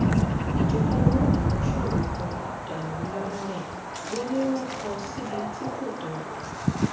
ìjọba wọ́ àwọn ṣọ́ọ̀bù kan dànù ńlọrọrìn wọn ni wọ́n kó o síbi tí kò tọ́